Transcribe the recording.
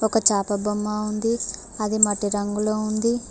ఒక చాప బొమ్మ ఉంది అది మట్టి రంగులో ఉంది.